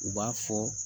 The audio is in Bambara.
U b'a fɔ